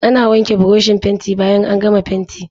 Ana wanke burushin fenti bayan an gama fentin.